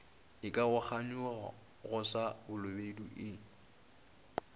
ikaroganyago go sa balobedu e